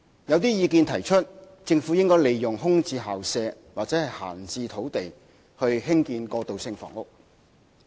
有些人認為，政府應利用空置校舍或閒置土地興建過渡性房屋。